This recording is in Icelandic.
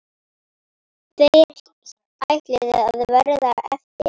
Tveir ætluðu að verða eftir.